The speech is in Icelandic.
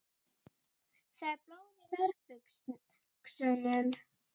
Það er blóð í nærbuxunum.